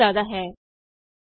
sum is greater than 20